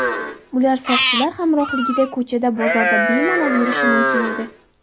Ular soqchilar hamrohligida ko‘chada, bozorda bemalol yurishi mumkin edi.